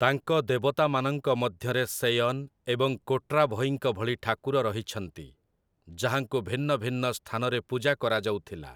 ତାଙ୍କ ଦେବତାମାନଙ୍କ ମଧ୍ୟରେ ସେୟନ୍ ଏବଂ କୋଟ୍ରାଭଇଙ୍କ ଭଳି ଠାକୁର ରହିଛନ୍ତି, ଯାହାଙ୍କୁ ଭିନ୍ନ ଭିନ୍ନ ସ୍ଥାନରେ ପୂଜା କରାଯାଉଥିଲା ।